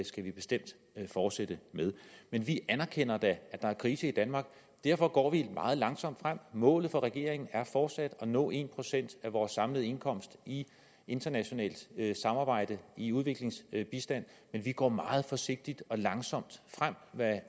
skal vi bestemt fortsætte med men vi anerkender da at der er krise i danmark derfor går vi meget langsomt frem målet for regeringen er fortsat at nå en procent af vores samlede indkomst i internationalt samarbejde i udviklingsbistand men vi går meget forsigtigt og langsomt frem hvad